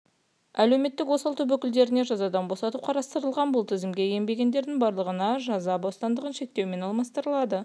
әлеуметтік осал топ өкілдеріне жазадан босату қарастырылған бұл тізімге енбегендердің барлығына жаза бостандығын шектеумен алмастырылады